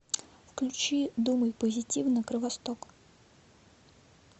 включи думай позитивно кровосток